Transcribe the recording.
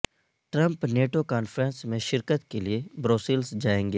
Trump NATO conference میں شرکت کے لئے بروسلز جائیں گے